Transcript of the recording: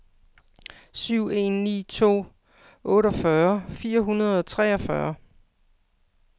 syv en ni to otteogfyrre fire hundrede og treogfyrre